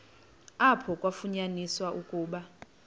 apho kwafunyaniswa ukuba